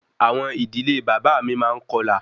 Awọn idile baba mi maa n kọlà